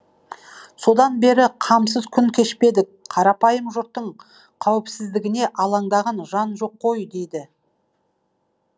содан бері қамсыз күн кешпедік қарапайым жұрттың қауіпсіздігіне алаңдаған жан жоқ кой дейді